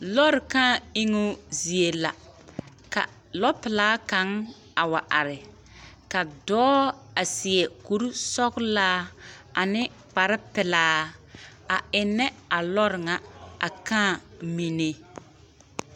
Lɔɔre kaa eŋuu zie la ka lɔpelaa kaŋ a wa are ka dɔɔ a seɛ koresɔglaa ane kparrepelaa a ennɛ a lɔɔre ŋa a kaa mine.